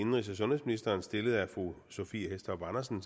indenrigs og sundhedsministeren stillet af fru sophie hæstorp andersen